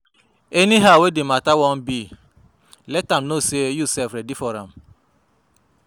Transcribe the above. Anyhow wey di mata wan be let am no sey yu sef ready for am